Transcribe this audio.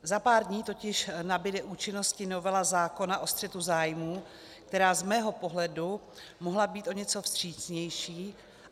Za pár dní totiž nabude účinnosti novela zákona o střetu zájmů, která z mého pohledu mohla být o něco vstřícnější.